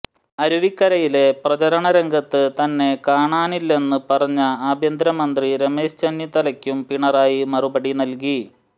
അരുവിക്കരയിലെ പ്രചരണ രംഗത്ത് തന്നെ കാണാനില്ലെന്ന് പറഞ്ഞ ആഭ്യന്തര മന്ത്രി രമേശ് ചെന്നിത്തലയ്ക്കും പിണറായി മറുപടി നൽകി